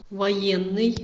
военный